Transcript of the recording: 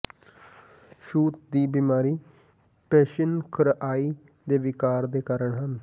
ਛੂਤ ਦੀ ਬਿਮਾਰੀ ਪਿੇਸੈਨਿਿ ਖਰਿਆਈ ਦੇ ਿਵਕਾਰ ਦੇ ਕਾਰਨ ਹਨ